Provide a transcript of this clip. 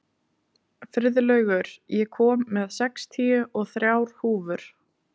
Friðlaugur, ég kom með sextíu og þrjár húfur!